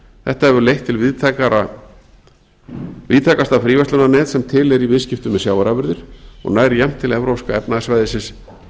þetta hefur leitt til víðtækasta fríverslunarnets sem til er í viðskiptum með sjávarafurðir og nær jafnt til evrópska efnahagssvæðisins